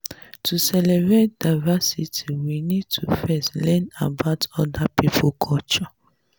to celebrate diversity we need to first learn about oda pipo culture